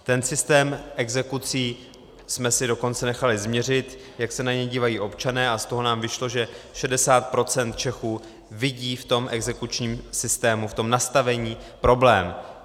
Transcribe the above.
Ten systém exekucí jsme si dokonce nechali změřit, jak se na něj dívají občané, a z toho nám vyšlo, že 60 % Čechů vidí v tom exekučním systému, v tom nastavení, problém.